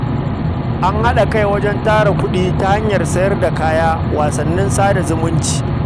An haɗa kai wajen tara kuɗi ta hanyar sayar da kaya, wasannin sada zumunci